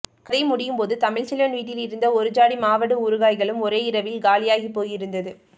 கதை முடியும் போது தமிழ்செல்வன் வீட்டிலிருந்த ஒரு ஜாடி மாவடு ஊறுகாய்களும் ஒரே இரவில் காலியாகி போயிருந்தது